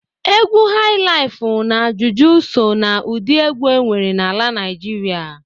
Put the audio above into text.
Egwu hailaif na juju so na ụdị egwu enwere n'ala Naijịrịa.